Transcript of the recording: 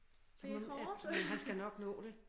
Det er hårdt